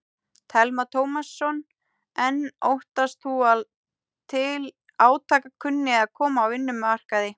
Telma Tómasson: En óttast þú að til átaka kunni að koma á vinnumarkaði?